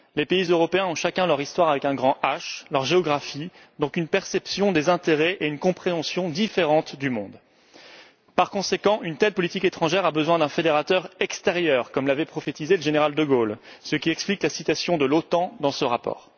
Les pays européens ont chacun leur Histoire avec un grand H, leur géographie, et donc une perception des intérêts et une compréhension différentes du monde. Par conséquent, une telle politique étrangère a besoin d'un fédérateur extérieur, comme l'avait prophétisé le général de Gaulle, ce qui explique la citation de l'OTAN dans ce rapport.